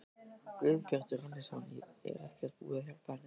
Guðbjartur Hannesson: Er ekkert búið að hjálpa henni?